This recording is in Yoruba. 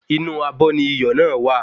Inú abọ́ ni iyọ̀ náà wà